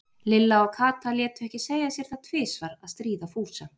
Lilla og Kata létu ekki segja sér það tvisvar að stríða Fúsa.